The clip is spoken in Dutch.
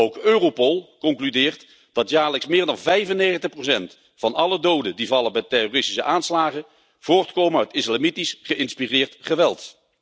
Ook Europol concludeert dat jaarlijks meer dan 95 van alle doden die vallen bij terroristische aanslagen voortkomen uit islamitisch geïnspireerd geweld.